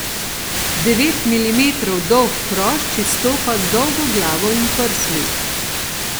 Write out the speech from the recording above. Devet milimetrov dolg hrošč izstopa z dolgo glavo in prsmi.